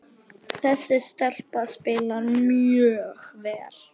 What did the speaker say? Þessi stelpa spilar mjög vel.